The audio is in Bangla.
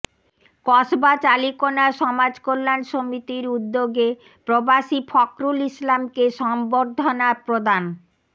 কসবা চালিকোনা সমাজ কল্যান সমিতির উদ্যোগে প্রবাসী ফখরুল ইসলামকে সংবর্ধনা প্রদান